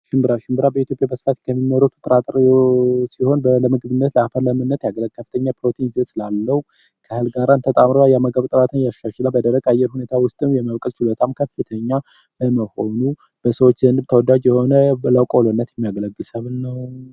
ሽንብራ፡ ሽንብራ በኢትዮጵያ በስፋት ከሚመረቱ የጥራጥሬ ዐይነቶች ሲሆን ለምግብነት ያገለግላል። ከፍተኛ ፕሮቲን ስላለው ከሌሎች እህሎች ጋራ ተጣምሮ የምግብ ፍላጎትን ያሻሽላል። በደረቅ የአየር ሁኔታ ውስጥም የመብቀል ችሎታው ከፍተኛ በመሆኑ በሰዎች ዘንድ ተወዳጅ የሆነ ለቆሎነት የሚያገለግል ሰብል ነው።